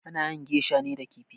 Ana yin geisha ne da kifi